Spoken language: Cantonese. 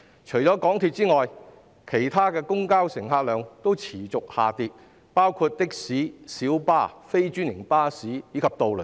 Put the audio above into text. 除了香港鐵路有限公司外，其他公共交通的乘客量也持續下跌，包括的士、小巴、非專營巴士及渡輪等。